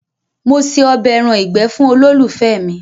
Mo ṣe ọbẹ̀ ẹran ìgbé fun olólùfẹ́ mi.